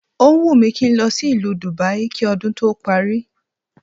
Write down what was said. Ó wùn mí kí n lọ sí ìlú Dubai kí ọdún tó parí